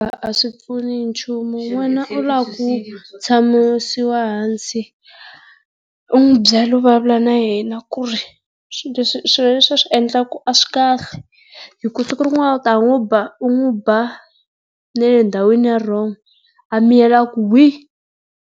A swi pfuni nchumu n'wana u lava ku tshamisiwa ehansi, u n'wi byela u vulavula na yena ku ri swilo leswi a swi endlaka a swi kahle. Hiku siku rin'wana u ta n'wi ba u n'wi ba na le ndhawini ya wrong, a miyela a ku hwii!